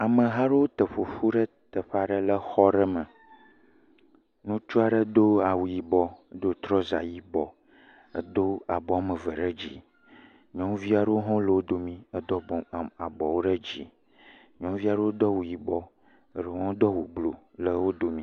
Ameha aɖewo te ƒoƒu le teƒe aɖe le xɔ aɖe me. Ŋutsu aɖe do awu yibɔ do trɔsa yibɔ edo abɔ wɔme eve ɖe dzi. Nyɔnuvi aɖewo hã le wo domi hedo pɔpɔm abɔwo ɖe dzi. Nyɔnuvi aɖewo do awu yibɔ eɖewo hã do awu blu le wo domi.